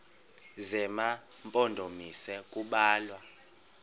zema mpondomise kubalwa